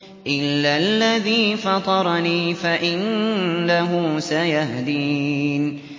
إِلَّا الَّذِي فَطَرَنِي فَإِنَّهُ سَيَهْدِينِ